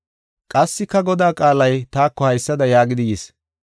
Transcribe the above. Qassika Godaa qaalay taako haysada yaagidi yis.